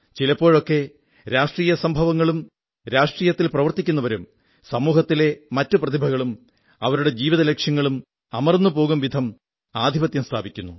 ചിലപ്പോഴൊക്കെ രാഷ്ട്രീയ സംഭവങ്ങളും രാഷ്ട്രീയത്തിൽ പ്രവർത്തിക്കുന്നവരും സമൂഹത്തിലെ മറ്റു പ്രതിഭകളും അവരുടെ ജീവിതലക്ഷ്യങ്ങളും അമർന്നുപോകും വിധം ആധിപത്യം സ്ഥാപിക്കുന്നു